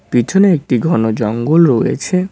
পিছনে একটি ঘন জঙ্গল রয়েছে।